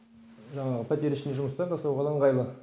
жаңағы пәтер ішінде жұмыстар да соған ыңғайлы